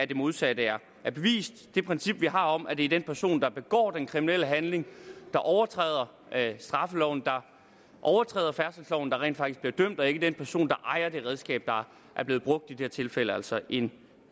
det modsatte er bevist det princip vi har om at det er den person der begår den kriminelle handling der overtræder straffeloven der overtræder færdselsloven der rent faktisk bliver dømt og ikke den person der ejer det redskab der er blevet brugt i det her tilfælde altså en